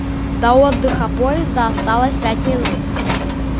до отдыха поезда осталось пять минут